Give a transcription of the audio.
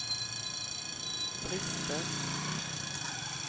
brister